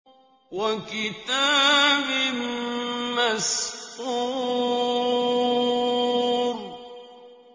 وَكِتَابٍ مَّسْطُورٍ